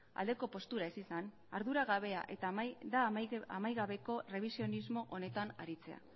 aldeko postura ez izan ardura gabea eta amaigabeko errebisionismo honetan aritzea